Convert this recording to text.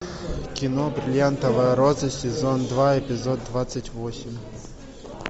кино бриллиантовая роза сезон два эпизод двадцать восемь